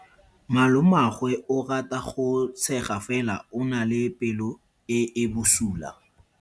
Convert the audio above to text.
Malomagwe o rata go tshega fela o na le pelo e e bosula.